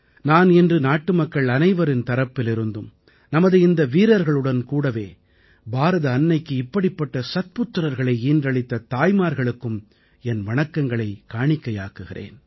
நான் இன்று நாட்டுமக்கள் அனைவரின் தரப்பிலிருந்தும் நமது இந்த வீரர்களுடன் கூடவே பாரத அன்னைக்கு இப்படிப்பட்ட சத்புத்திரர்களை ஈன்றளித்த தாய்மார்களுக்கும் என் வணக்கங்களைக் காணிக்கையாக்குகிறேன்